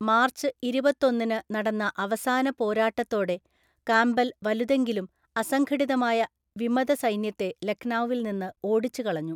March ഇരുപത്തൊന്നിനു നടന്ന അവസാന പോരാട്ടത്തോടെ കാംബെൽ വലുതെങ്കിലും അസംഘടിതമായ വിമതസൈന്യത്തെ ലക്നൌവിൽനിന്ന് ഓടിച്ചുകളഞ്ഞു.